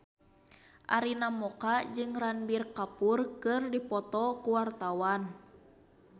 Arina Mocca jeung Ranbir Kapoor keur dipoto ku wartawan